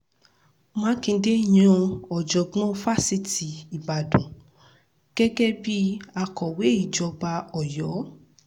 mákindé yan ọ̀jọ̀gbọ́n fásitì ìbàdàn gẹ́gẹ́ bíi akọ̀wé ìjọba ọ̀yọ́